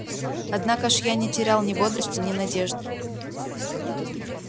однако ж я не терял ни бодрости ни надежды